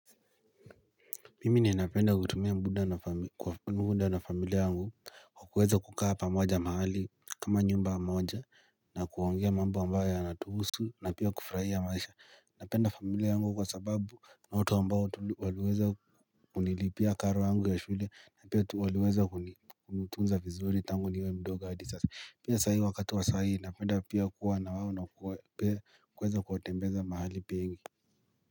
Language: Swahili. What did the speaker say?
Mimi ninapenda kutumia muda na familia yangu kwa kuweza kukaa pamoja mahali kama nyumba monja na kuongea mambo ambayo yanatuhusu na pia kufraia maisha Napenda familia yangu kwa sababu ni watu ambao waliweza kunilipia karo yangu ya shule na pia waliweza tunza vizuri tangu niwe mdogo adi sasa Pia saa hii wakati wa saa hii napenda pia kuwa na wao na kuweza kuwatembeza mahali pengi.